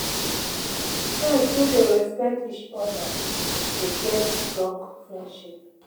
Friends wey dey respect each oda dey get strong friendship.